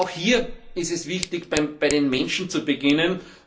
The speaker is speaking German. Aber auch hier ist es wichtig, bei den Menschen zu beginnen.